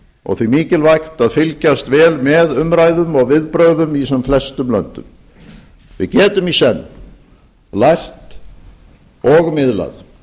og því mikilvægt að fylgjast vel með umræðum og viðbrögðum í sem flestum löndum við getum í senn lært og miðlað